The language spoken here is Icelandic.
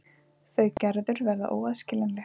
Þau Gerður verða óaðskiljanleg.